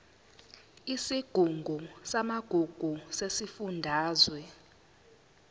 isigungu samagugu sesifundazwe